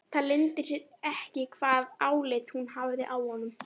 Það leyndi sér ekki hvaða álit hún hafði á honum.